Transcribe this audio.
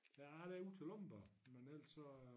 Nej der er ud til Lomborg men ellers så